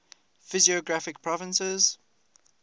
physiographic provinces